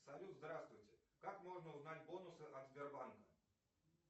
салют здравствуйте как можно узнать бонусы от сбербанка